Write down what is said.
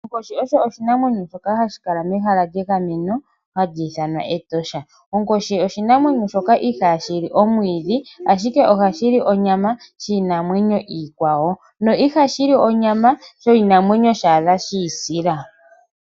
Onkoshi oyo oshinamwenyo shoka hashi kala mehala lyegameno ndyono hali ithanwa Etosha. Onkoshi oshinamwenyo shoka ihaashi li omwiidhi, ashike ohashi li onyama yiinamwenyo iikwawo na iha shi li onyama yoshinamwenyo shiisila.